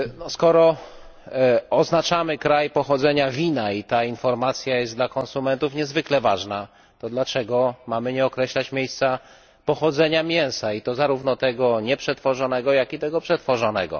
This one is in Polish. Skoro oznaczamy kraj pochodzenia wina i ta informacja jest dla konsumentów niezwykle ważna, to dlaczego mamy nie określać miejsca pochodzenia mięsa, i to zarówno tego nieprzetworzonego, jak i tego przetworzonego?